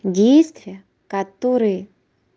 действия которые